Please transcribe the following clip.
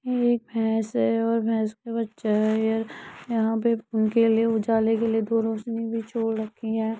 यह एक भैंस है और भैंस का बच्चा है और यहां पर उनके उजाले के लिए दो रोशनी भी छोड़ रखी है।